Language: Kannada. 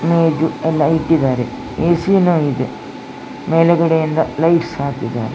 ಮೇಜು ಎಲ್ಲ ಇತ್ತಿದ್ದ್ದಾರೆ ಎ.ಸಿ ನು ಇದೆ ಮೇಲ್ಗಡೆ ಇಂದ ಲೈಟ್ಸ್ ಹಾಕಿದ್ದಾರೆ.